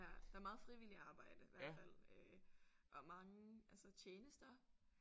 Ja der er meget frivilligt arbejde hvert fald øh og mange altså tjenester